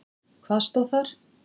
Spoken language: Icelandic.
Hvað stóð þar?